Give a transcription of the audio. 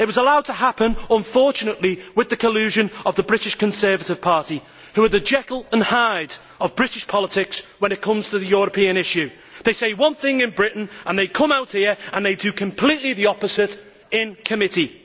It was allowed to happen, unfortunately with the collusion of the British Conservative Party, who are the Jekyll and Hyde of British politics when it comes to the European issue. They say one thing in Britain and they come out here and they do completely the opposite in committee.